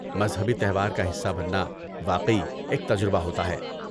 مذہبی تہوار کا حصہ بننا واقعی ایک تجربہ ہوتا ہے۔